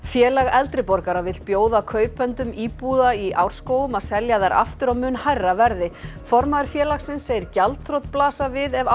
Félag eldri borgara vill bjóða kaupendum íbúða í Árskógum að selja þær aftur á mun hærra verði formaður félagsins segir gjaldþrot blasa við ef